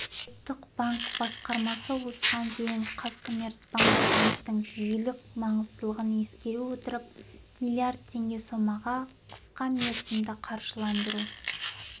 ұлттық банк басқармасы осыған дейін қазкоммерцбанк банктің жүйелік маңыздылығын ескере отырып миллиард теңге сомаға қысқамерзімді қаржыландыру